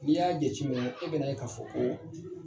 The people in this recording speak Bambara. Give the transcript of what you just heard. N'i y'a jateminɛ i bɛn'a ye ka fɔ ko